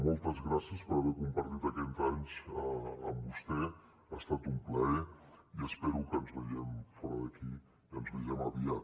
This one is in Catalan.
moltes gràcies per haver compartit aquest anys amb vostè ha estat un plaer i espero que ens veiem fora d’aquí i ens vegem aviat